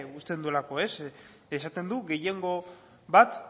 uzten duelako esaten du gehiengo bat